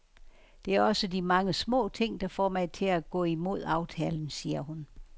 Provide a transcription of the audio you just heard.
Det er også de mange små ting, der får mig til at gå imod aftalen, siger hun.